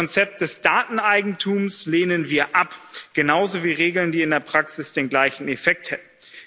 Das Konzept des Dateneigentums lehnen wir ab, genauso wie Regeln, die in der Praxis den gleichen Effekt hätten.